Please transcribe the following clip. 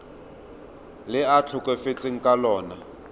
le a tlhokafetseng ka lona